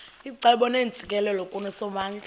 icebo neentsikelelo kusomandla